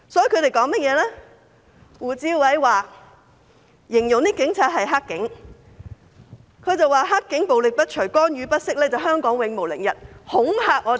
胡志偉議員形容警察是"黑警"，他說"黑警"暴力不除，干預不息，香港永無寧日。